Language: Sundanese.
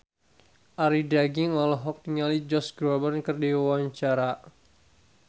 Arie Daginks olohok ningali Josh Groban keur diwawancara